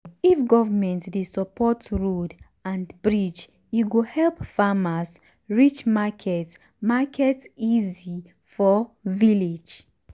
if government dey support road and bridge e go help farmers reach market market easy for village.